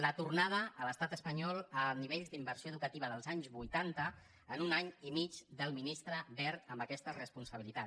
la tornada a l’estat espanyol a nivells d’inversió educativa dels anys vuitanta en un any i mig del ministre wert amb aquesta responsabilitat